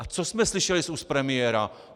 A co jsme slyšeli z úst premiéra?